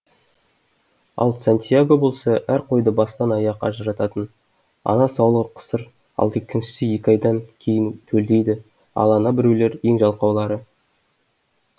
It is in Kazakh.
ал сантьяго болса әр қойды бастан аяқ ажырататын ана саулық қысыр ал екіншісі екі айдан кейін төлдейді ал ана біреулері ең жалқаулары